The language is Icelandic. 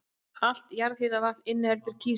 Allt jarðhitavatn inniheldur kísil.